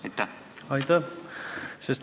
Aitäh!